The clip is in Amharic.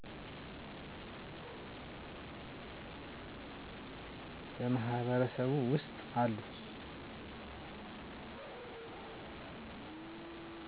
በማህበረሱ ውስጥ አሉ